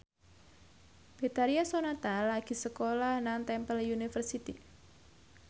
Betharia Sonata lagi sekolah nang Temple University